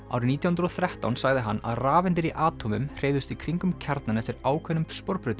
árið nítján hundruð og þrettán sagði hann að rafeindir í atómum hreyfðust í kringum kjarnann eftir ákveðnum